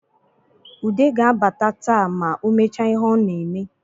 Ude ga-abata taa ma o mechaa ihe o na-eme